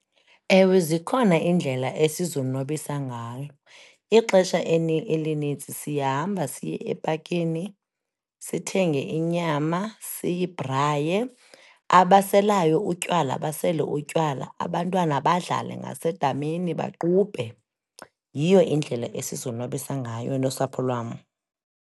Ewe, zikhona iindlela esizonwabisa ngalo, ixesha elinintsi siyahamba siye epakini, sithenge inyama siyibhraye, abaselayo utywala basele utywala. Abantwana badlale ngasedamini, baqubhe. Yiyo indlela esizonwabisa ngayo nosapho lwam.